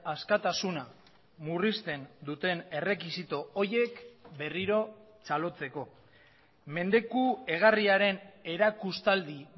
askatasuna murrizten duten errekisito horiek berriro txalotzeko mendeku egarriaren erakustaldi